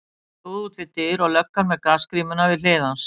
Hann stóð út við dyr og löggan með gasgrímuna við hlið hans.